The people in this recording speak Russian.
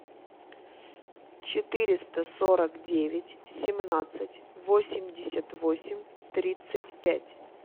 четыреста сорок девять семнадцать восемьдесят восемь тридцать пять